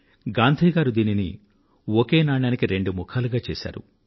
గాంధీ గారు దీనిని ఒకే నాణానికి రెండు ముఖాలుగా చేశారు